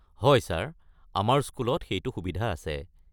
হয় ছাৰ, আমাৰ স্কুলত সেইটো সুবিধা আছে।